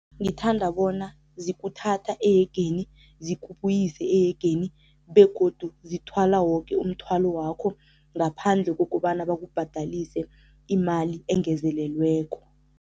Ngithanda bona zikuthatha ehegeni, zikubuyise ehegeni begodu zithwala woke umthwalo wakho ngaphandle kokobana bakubhadalise imali engezelelweko.